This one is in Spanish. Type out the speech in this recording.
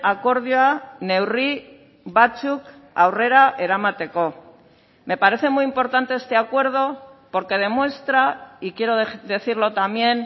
akordioa neurri batzuk aurrera eramateko me parece muy importante este acuerdo porque demuestra y quiero decirlo también